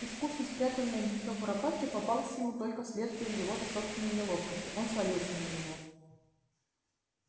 искусно спрятанное гнездо куропатки попалось ему только вследствие его же собственной неловкости он свалился на него